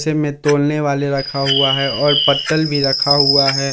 में तौलने वाले रखा हुआ है और पत्तल भी रखा हुआ है।